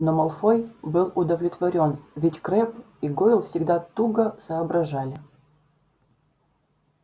но малфой был удовлетворён ведь крэбб и гойл всегда туго соображали